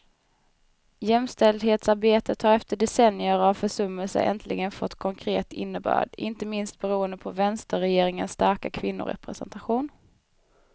Jämställdhetsarbetet har efter decennier av försummelser äntligen fått konkret innebörd, inte minst beroende på vänsterregeringens starka kvinnorepresentation.